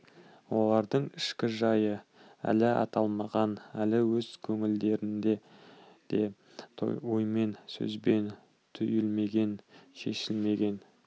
олардың ішкі жайы әлі аталмаған әлі өз көңілдерінде де оймен сөзбен түйілмеген шешілмеген